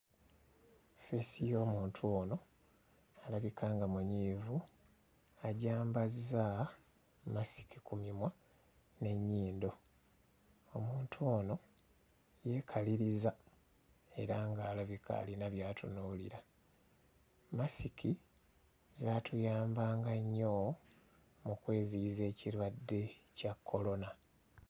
Feesi y'omuntu ono alabika alabika nga munyiivu agyambazza mmasiki ku mimwa n'ennyindo. Omuntu ono yeekaliriza era ng'alabika alina by'atunuulira. Mmasiki zaatuyambanga nnyo mu kweziyiza ekirwadde kya kkolona.